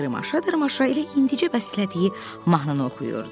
Dırmaşa-dırmaşa elə indicə bəstələdiyi mahnını oxuyurdu.